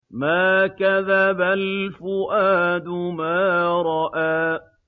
مَا كَذَبَ الْفُؤَادُ مَا رَأَىٰ